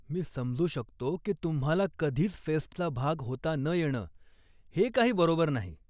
मी समजू शकतो की तुम्हाला कधीच फेस्टचा भाग होता न येणं, हे काही बरोबर नाही.